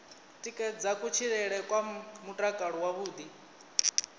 tikedza kutshilele kwa mutakalo wavhuḓi